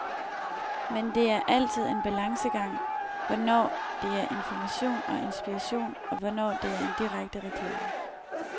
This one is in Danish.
Men det er altid en balancegang, hvornår det er information og inspiration, og hvornår det er direkte reklame.